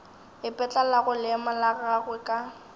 ipetlelago leemo la gagwe ka